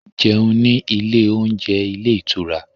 Jẹun ní ilé oúnjẹ ilé ìtura